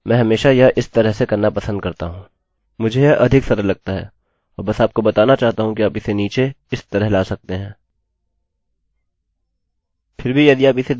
मैं यह अधिक सरल लगता है और बस आपको बताना चाहता हूँ कि आप इसे नीचे इस तरह से ला सकते हैं